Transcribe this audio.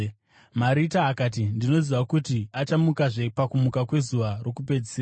Marita akati, “Ndinoziva kuti achamukazve pakumuka kwezuva rokupedzisira.”